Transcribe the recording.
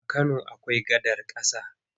A Kano akwai gadar ƙasa.